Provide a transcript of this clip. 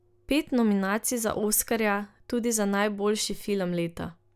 Pet nominacij za oskarja, tudi za najboljši film leta!